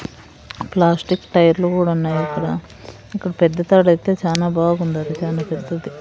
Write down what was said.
Plastic టైర్లు గుడా ఉన్నాయి ఇక్కడ ఇక్కడ పెద్ద తాడు అయితే చానా బాగుండాది చానా పెద్దది.